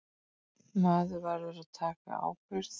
Maður verður að taka ábyrgð.